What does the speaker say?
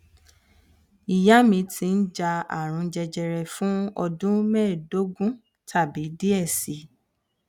iya mi ti ja arun jẹjẹrẹ fun ọdun mẹdogun tabi diẹ sii